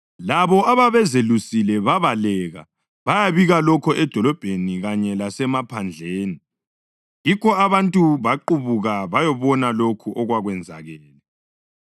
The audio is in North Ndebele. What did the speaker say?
Labo ababezelusile babaleka bayabika lokho edolobheni kanye lasemaphandleni, yikho abantu baqubuka bayabona lokho okwakwenzakele.